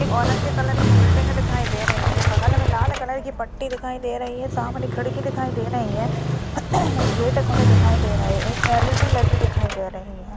Orange colour की building दिखाई दे रही है बगल में लाल कलर की पट्टी दिखाई दे रही है सामने खिड़की दे रही है गेट खुले दिखाई दे रहे हैं एक एल.ई.डी दिखाई दे रही है।